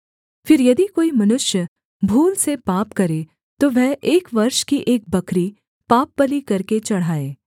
फिर यदि कोई मनुष्य भूल से पाप करे तो वह एक वर्ष की एक बकरी पापबलि करके चढ़ाए